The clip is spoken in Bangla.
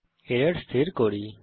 এখন এরর স্থির করি